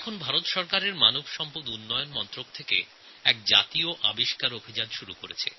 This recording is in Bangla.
ভারত সরকারের মানব সম্পদ উন্নয়ন মন্ত্রক নতুন প্রতিভার সন্ধানে একটি জাতীয় মেধা অনুসন্ধান অভিযান শুরু করেছে